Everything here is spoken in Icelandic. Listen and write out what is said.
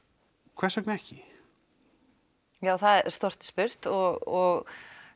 hvers vegna ekki ja þegar stórt er spurt og